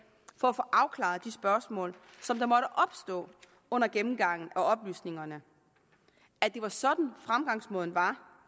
for at få afklaret de spørgsmål som der måtte opstå under gennemgangen af oplysningerne at det var sådan fremgangsmåden var